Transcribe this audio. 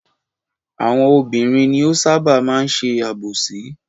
Àwọn obìnrin ni ó ṣábà máa ń ṣe àbòsí.